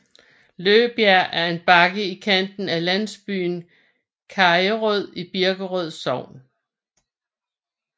Løbjerg er en bakke i kanten af landsbyen Kajerød i Birkerød Sogn